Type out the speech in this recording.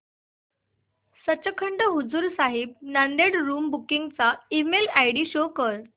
Sachkhand Hazur Sahib Nanded room booking चा email ID show कर